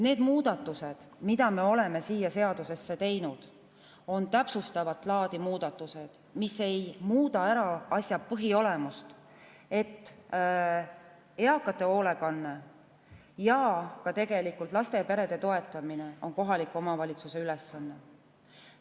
Need muudatused, mida me oleme siia seadusesse teinud, on täpsustavat laadi, need ei muuda asja põhiolemust, et eakate hoolekanne ja tegelikult ka laste ja perede toetamine on kohaliku omavalitsuse ülesanne.